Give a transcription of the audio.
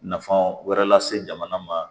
Nafan wɛrɛ lase jamana ma